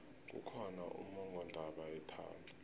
kukhona ummongondaba yethando